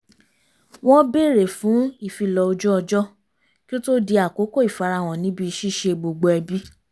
wọ́n bèrè fún ìfilọ̀ ojú ọjọ́ kí ó to di àkókò ìfarahàn níbi ṣíṣe gbogbo ẹbì